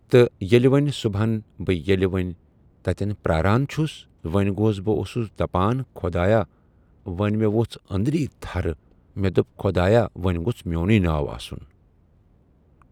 تہٕ ییٚلہِ وۄنۍ صُبَحن بہٕ ییٚلہِ بہٕ وۄنۍ تَتٮ۪ن پیاران چھُس وَنہِ گوس بہٕ اوسُس دَپَان خۄدایا وۄنۍ مےٚ ؤژھ أندٕرۍ تھَر مےٚ دوٚپ خۄدایا وَنہِ گوٚژھ میونُے ناو آسُن